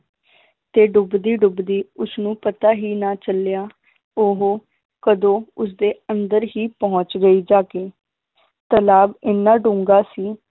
ਤੇ ਡੁਬਦੀ ਡੁਬਦੀ ਉਸਨੂੰ ਪਤਾ ਹੀ ਨਾ ਚੱਲਿਆ ਉਹ ਕਦੋਂ ਉਸਦੇ ਅੰਦਰ ਹੀ ਪਹੁੰਚ ਗਈ ਜਾ ਕੇ ਤਲਾਬ ਇੰਨਾ ਡੂੰਘਾ ਸੀ